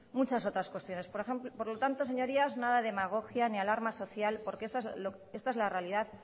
muchas otras cuestiones por lo tanto señorías nada de demagogia ni alarma social porque esta es la realidad